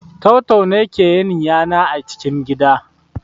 Tau-tau ne ke yin yana a cikin gida